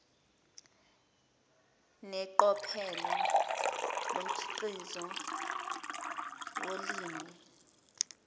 neqophelo lomkhiqizo wolimi